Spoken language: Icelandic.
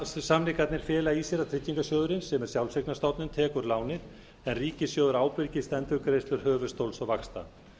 samningarnir fela í sér að tryggingarsjóðurinn sem er sjálfseignarstofnun tekur lánin en ríkissjóður ábyrgist endurgreiðslur höfuðstóls og vaxta